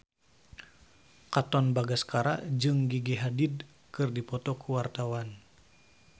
Katon Bagaskara jeung Gigi Hadid keur dipoto ku wartawan